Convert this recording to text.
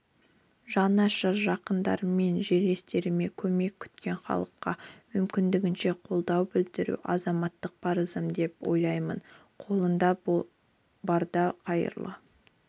жанашыр жақындарыммен жерлестеріме көмек күткен халыққа мүмкіндігінше қолдау білдіру азаматтық парызым деп ойлаймын қолыңда барда қайырлы